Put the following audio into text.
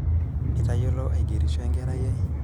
itayiolo agerisho enkerai ai